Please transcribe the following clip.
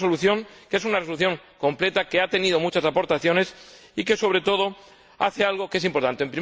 Una resolución que es una resolución completa, que ha tenido muchas aportaciones y que, sobre todo, hace algo que es importante.